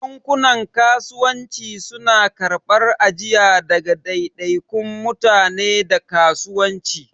Bankunan Kasuwanci suna karɓar ajiya daga daidaikun mutane da kasuwanci.